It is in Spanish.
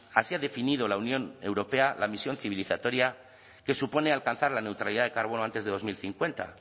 así ha definido la unión europea la misión civilizatoria que supone alcanzar la neutralidad del carbono antes de dos mil cincuenta